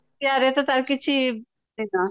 ତାକୁ କିଛି ଦେଇନ